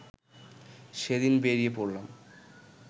সেদিন বেরিয়ে পড়লাম